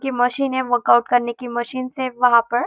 की मशीन है वर्कआउट करने की मशीनस वहाँ पर --